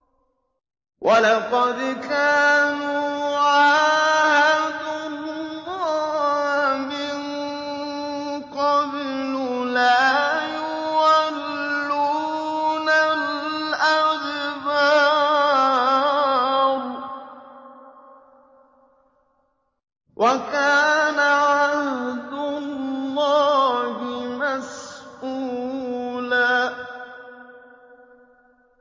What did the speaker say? وَلَقَدْ كَانُوا عَاهَدُوا اللَّهَ مِن قَبْلُ لَا يُوَلُّونَ الْأَدْبَارَ ۚ وَكَانَ عَهْدُ اللَّهِ مَسْئُولًا